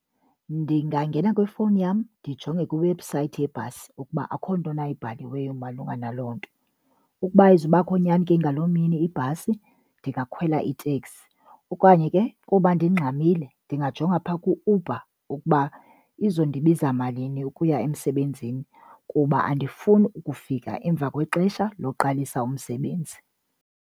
Ndingangena kwifowuni yam ndijonge kwiiwebhusayithi yebhasi ukuba akho nto na ibhaliweyo malunga naloo nto. Ukuba ayizubakho nyani ke ngaloo mini ibhasi, ndingakhwela iteksi. Okanye ke kuba ndingxamile ndingajonga phaa ku-Uber ukuba izondibiza malini ukuya emsebenzini kuba andifuni ukufika emva kwexesha loqalisa umsebenzi.